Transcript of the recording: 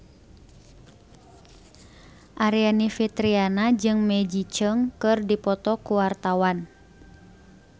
Aryani Fitriana jeung Maggie Cheung keur dipoto ku wartawan